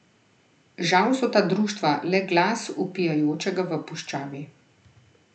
Žal so ta društva le glas vpijočega v puščavi.